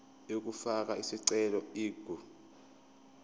yokufaka isicelo ingu